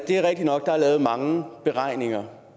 der er lavet mange beregninger